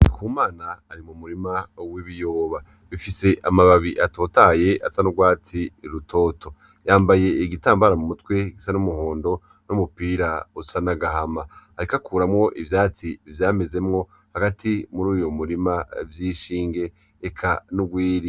Ndikumana ari mu murima w'ibiyoba bifise amababi atotahaye asa n'urwatsi rutoto. Yambaye igitambara mu mutwe gisa n'umuhondo n'umupira usa n'agahama, ariko akuramwo ivyatsi vyamezemwo hagati muri uyo murima vy'inshinge eka n'urwiri.